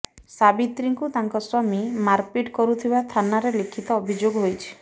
ସାବିତ୍ରୀଙ୍କୁ ତାଙ୍କ ସ୍ୱାମୀ ମାରପିଟ୍ କରୁଥିବା ଥାନାରେ ଲିଖିତ ଅଭିଯୋଗ ହୋଇଛି